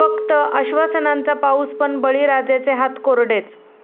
फक्त आश्वासनांचा पाऊस पण, बळीराजाचे हात कोरडेच!